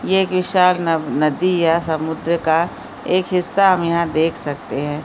ये एक विशाल न नदी या समुन्द्र का एक हिस्सा हम यहाँ देख सकते हैं ।